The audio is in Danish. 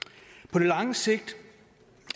på det lange sigt